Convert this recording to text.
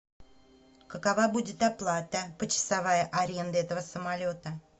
какова будет оплата почасовая аренды этого самолета